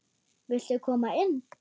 Viltu koma inn?